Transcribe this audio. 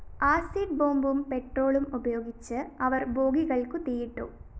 acid ബോംബും പെട്രോളും ഉപയോഗിച്ച്‌ അവര്‍ ബോഗികള്‍ക്കു തീയിട്ടു